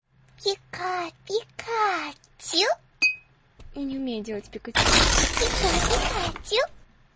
пика пикачу я не умею делать пикачу пика пикачу